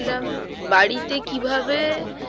লাম বাড়িতে কিভাবে